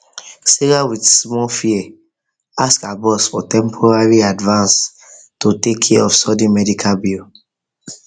sarah with small fear ask her boss for temporary advance to take care of sudden medical bill